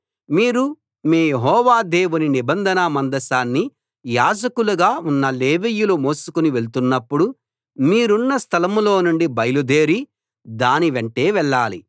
మీరు మీ యెహోవా దేవుని నిబంధన మందసాన్ని యాజకులుగా ఉన్న లేవీయులు మోసుకుని వెళ్తున్నప్పుడు మీరున్న స్థలం లో నుండి బయలుదేరి దాని వెంటే వెళ్ళాలి